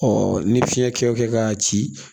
ni fiɲɛ kɛ o kɛ k'a ci